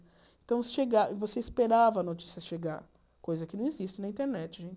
Então, você chega você esperava a notícia chegar, coisa que não existe na internet né.